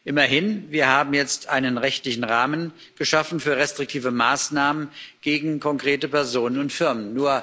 Immerhin haben wir jetzt einen rechtlichen Rahmen geschaffen für restriktive Maßnahmen gegen konkrete Personen und Firmen.